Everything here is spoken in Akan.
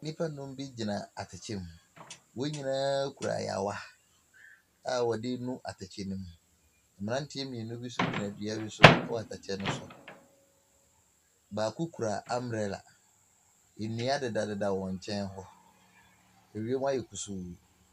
Nnipa num bi gyina atɛkyɛ mu. Wɔn nyinaa kura ayaawa a wɔdi nu atɛkyɛ no mu Mmranteɛ mienu bi nso gyina dua bi so ɛwɔ atɛkyɛ no so. Baako kura ambrɛla, nnua deda deda wɔn nkyɛn hɔ. Awiemu ayɛ kusuu.